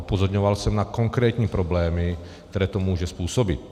Upozorňoval jsem na konkrétní problémy, které to může způsobit.